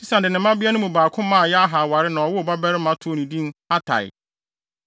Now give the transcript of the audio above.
Sesan de ne mmabea no mu baako maa Yarha aware na wɔwoo ɔbabarima too no din Atai.